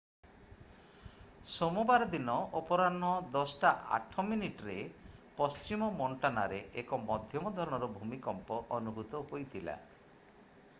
ସୋମବାର ଦିନ 10:08 p.m.ରେ ପଶ୍ଚିମ ମୋଣ୍ଟାନାରେ ଏକ ମଧ୍ୟମ ଧରଣର ଭୂମିକମ୍ପ ଅନୁଭୂତ ହୋଇଥିଲା ।